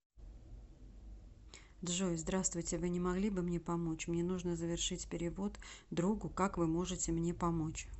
джой здравствуйте вы не могли бы мне помочь мне нужно завершить перевод другу как вы можете мне помочь